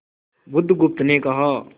बुधगुप्त ने कहा